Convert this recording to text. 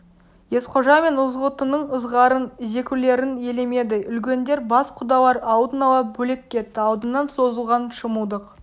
есқожа мен ызғұттының ызғарын зекулерін елемеді үлкендер бас құдалар алдын ала бөлек кетті алдынан созылған шымылдық